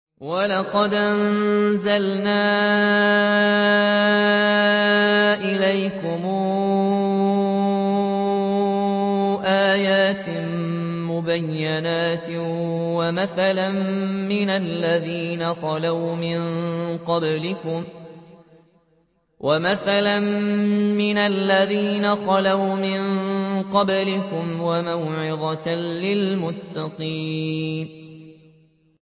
وَلَقَدْ أَنزَلْنَا إِلَيْكُمْ آيَاتٍ مُّبَيِّنَاتٍ وَمَثَلًا مِّنَ الَّذِينَ خَلَوْا مِن قَبْلِكُمْ وَمَوْعِظَةً لِّلْمُتَّقِينَ